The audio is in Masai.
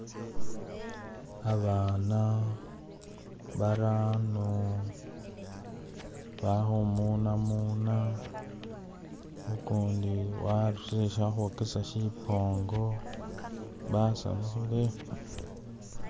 Abaana barano bali khumunamuna ugundi warusile ali khukhwokesaali shibongo basanyukhile.